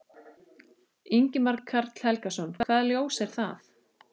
Ingimar Karl Helgason: Hvaða ljós er það?